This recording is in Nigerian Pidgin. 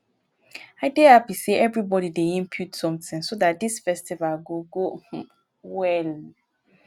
i dey happy say everybody dey input something so dat dis festival go go um well